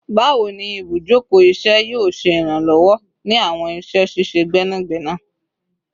Bawo ni ibujoko iṣẹ yoo ṣe iranlọwọ ni awọn iṣẹ ṣiṣe gbẹnagbẹna?